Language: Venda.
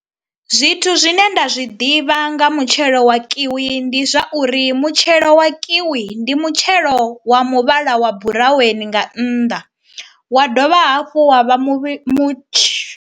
Zwithu zwine nda zwi ḓivha nga mutshelo wa kiwi ndi zwa uri mutshelo wa kiwi ndi mutshelo wa muvhala wa buraweni nga nnḓa wa dovha hafhu wa vha muvhi mutshi.